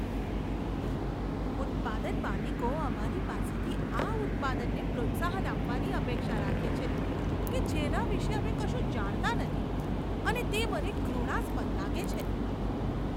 ઉત્પાદન માલિકો અમારી પાસેથી આ ઉત્પાદનને પ્રોત્સાહન આપવાની અપેક્ષા રાખે છે કે જેના વિશે અમે કશું જાણતા નથી અને તે મને ઘૃણાસ્પદ લાગે છે.